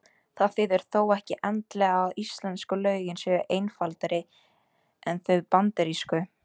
Það þýðir þó ekki endilega að íslensku lögin séu einfaldari en þau bandarísku.